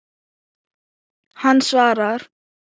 Hann svarar.